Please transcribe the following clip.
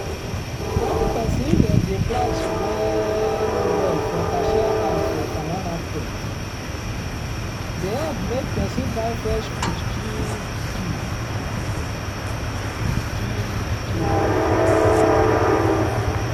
wen peson dem dey price well well for cashier hand for farmer matket dey hep make peson buy fresh food cheap cheap. cheap cheap.